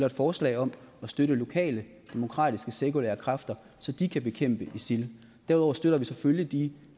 et forslag om at støtte lokale demokratiske sekulære kræfter så de kan bekæmpe isil derudover støtter vi selvfølgelig de